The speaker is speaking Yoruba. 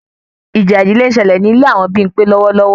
Ìjà ìdílé ń ṣẹlẹ ní ilé àwọn Bimpe lọwọlọwọ